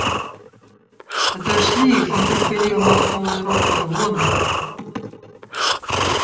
отошли их нетерпеливо махнул он рукой вон